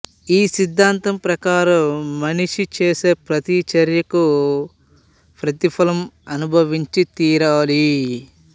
ఈ సిద్ధాంతం ప్రకారం మనిషి చేసే ప్రతి చర్యకి ప్రతిఫలం అనుభవించి తీరాలి